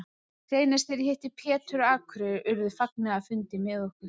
Seinast þegar ég hitti Pétur á Akureyri urðu fagnaðarfundir með okkur.